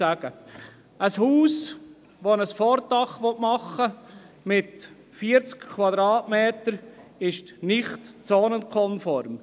Ein Haus, bei dem ein Vordach mit 40 Quadratmetern gebaut werden soll, ist nicht zonenkonform.